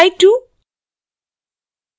replyto और